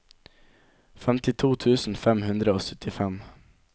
femtito tusen fem hundre og syttifem